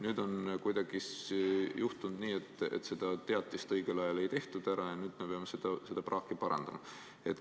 Aga kuidagi on juhtunud nii, et seda teavitust õigel ajal ei tehtud ja nüüd me peame seda praaki parandama.